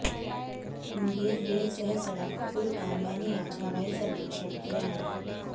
Munger rail सह सड़क पुल का मैंने आज हवाई सर्वेक्षण किया है